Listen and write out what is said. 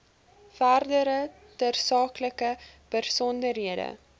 verdere tersaaklike besonderhede